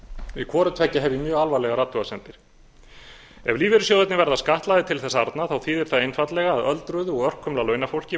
við hvoru tveggja hef ég mjög alvarlegar athugasemdir ef lífeyrissjóðirnir verða skattlagðir til þess arna þýðir það einfaldlega að öldruðu og örkumla launafólki